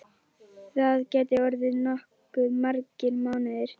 Það gætu orðið nokkuð margir mánuðir.